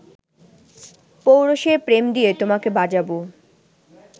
পৌরুষের প্রেম দিয়ে তোমাকে বাজাবো